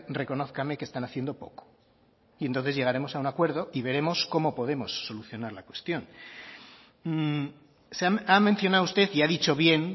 reconózcame que están haciendo poco y entonces llegaremos a un acuerdo y veremos cómo podemos solucionar la cuestión ha mencionado usted y ha dicho bien